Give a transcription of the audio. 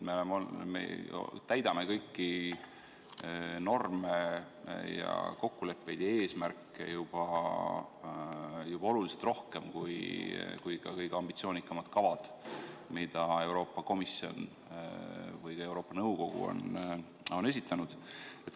Me täidame kõiki norme, kokkuleppeid ja eesmärke juba oluliselt rohkem, kui näevad ette ka kõige ambitsioonikamad kavad, mida Euroopa Komisjon või ka Euroopa Nõukogu on esitanud.